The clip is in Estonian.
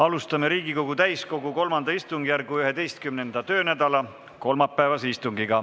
Alustame Riigikogu täiskogu III istungjärgu 11. töönädala kolmapäevast istungit.